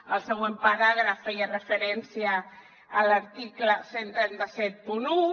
el següent paràgraf feia referència a l’article tretze setanta u